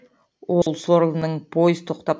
ол сорлының пойыз тоқтап